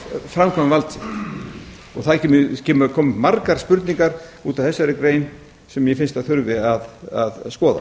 ráðherrana framkvæma vald sitt það koma upp margar spurningar út af þessari grein sem mér finnst að þurfi að skoða